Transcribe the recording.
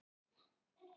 Kemur ekki til mála!